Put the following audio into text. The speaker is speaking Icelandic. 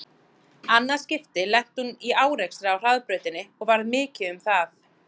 Annað skipti lenti hún í árekstri á hraðbrautinni og varð mikið um það.